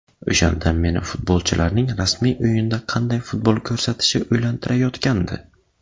O‘shanda meni futbolchilarning rasmiy o‘yinda qanday futbol ko‘rsatishi o‘ylantirayotgandi.